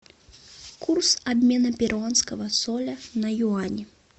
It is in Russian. курс обмена перуанского соля на юани